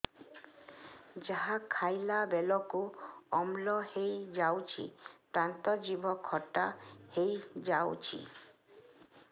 ଯାହା ଖାଇଲା ବେଳକୁ ଅମ୍ଳ ହେଇଯାଉଛି ଦାନ୍ତ ଜିଭ ଖଟା ହେଇଯାଉଛି